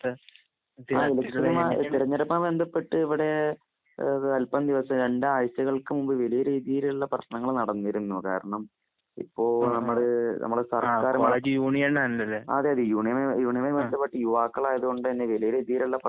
തെരഞ്ഞെടുപ്പുമായി ബന്ധപ്പെട്ട് ഇവിടെ അൽപ്പം ദിവസം രണ്ടാഴ്ചകൾക്ക് മുമ്പ്. വലിയ രീതിയിലുള്ള പ്രശ്നങ്ങൾ നടന്നിരുന്നു. കാരണം ഇപ്പോൾ നമ്മള് നമ്മുടെ സർക്കാർ. അതേ അതേ യൂണിയനുമായി ബന്ധപ്പെട്ട് യുവാക്കളായതുകൊണ്ട് വലിയ രീതിയിലുള്ള പ്രശ്നങ്ങൾ,